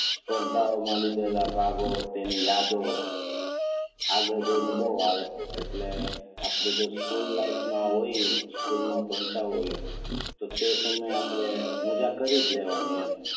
સ્પર્ધાઓ માં લીધેલા ભાગો તેની યાદો આગળ જઈને બહુ આવે એટલે જો આપણે સ્કૂલ લાઈફ માં હોઈએ સ્કૂલ માં ભણતા હોઈએ તો તે સમયે આપણે મજ્જા કરીજ લેવાની એમ.